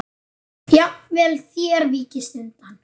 Jafnvel þér víkist undan!